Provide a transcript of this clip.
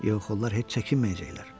Yox, onlar heç çəkinməyəcəklər.